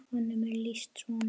Honum er lýst svona